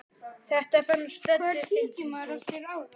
Þetta fannst Döddu fyndið.